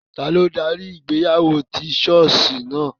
Tani o dari ìgbéyàwó ti ṣọọṣi naa?